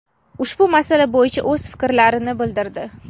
ushbu masala bo‘yicha o‘z fikrlarini bildirdi.